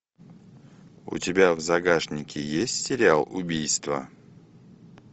у тебя в загашнике есть сериал убийство